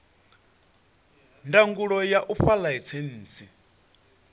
ndangulo ya u fha ḽaisentsi